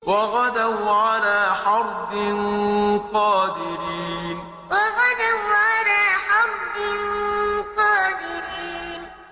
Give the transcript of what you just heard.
وَغَدَوْا عَلَىٰ حَرْدٍ قَادِرِينَ وَغَدَوْا عَلَىٰ حَرْدٍ قَادِرِينَ